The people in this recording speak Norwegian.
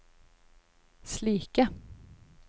slike